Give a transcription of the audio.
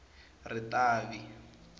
ritavi